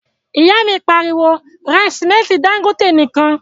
ìyá mi pariwo, 'ra sìmẹ́ntí Dangote nìkan'